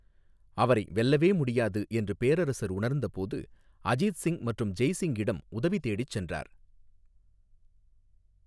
அவரை 'வெல்லவே முடியாது' என்று பேரரசர் உணர்ந்தபோது, அஜித் சிங் மற்றும் ஜெய் சிங்கிடம் உதவிதேடிச் சென்றார்.